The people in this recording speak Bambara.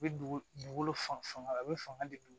U bɛ dugugolo fan a bɛ fanga di